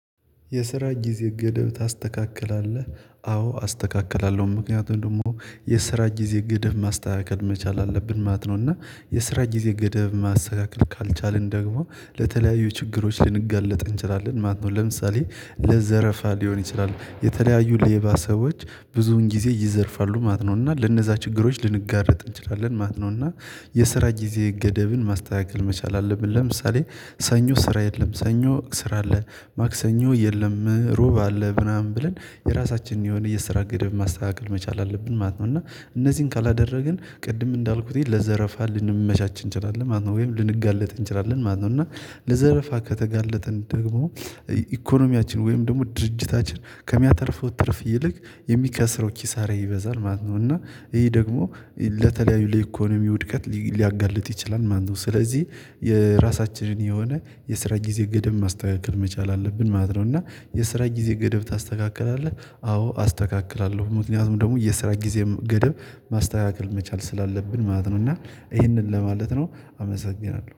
የስራ ጊዜ ገደብ ታስተካክላለህ? አዎ አስተካክላለሁ። ምክንያቱም ደግሞ የስራ ጊዜ ገደብ ማስተካከል መቻል አለብን ማለት ነው። እና የስራ ጊዜ ገደብ ማስተካከል ካልቻልን ደግሞ ለተለያዩ ችግሮች ልንጋለጥ እንችላለን ማለት ነው። ለምሳሌ ለዘረፋ ሊሆን ይችላል የተለያዩ ሌባ ሰዎች ብዙን ጊዜ ይዘርፋሉ ማለት ነው እና ለነዛ ችግሮች ልንጋለጥ እንችላለን ማለት ነው። እና የስራ ጊዜ ገደብን ማስተካከል መቻል አለብን። ለምሳሌ ሰኞ ስራ የለም፤ ሰኞ ስራ አለ፤ ማክሰኞ የለም፤ እሮብ አለ ምናምን ብለን የራሳችንን የሆነ የስራ ገደብ ማስተካከል መቻል አለብን ማለት ነው። እና እነዚህን ካላደረግን ቅድም እንዳልኩትኝ ለዘረፋ ልንመቻች እንችላለን ማለት ነው ወይም ልንጋለጥ እንችላለን ማለት ነው። እና ለዘረፋ ከተጋለጠን ደግሞ ኢኮኖሚያችን ወይም ደግሞ ድርጅታችን ከሚያተርፈው ትርፍ ይልቅ የሚከስረው ኪሳራ ይበዛል ማለት ነው። እና ይሄ ደግሞ ለተለያዩ ለኢኮኖሚ ውድቀት ሊያጋልጥ ይችላል ማለት ነው። ስለዚህ የራሳችንን የሆነ የስራ ጊዜ ገደብ ማስተካከል መቻል አለብን ማለት ነው። እና የስራ ጊዜ ገደብ ታስተካክላለህ? አዎ አስተካክላለሁ። ምክንያቱም ደግሞ የስራ ጊዜም ገደብ ማስተካከል መቻል ስላለብን ማለት ነው እና ይህንን ለማለት ነው። አመሰግናለሁ።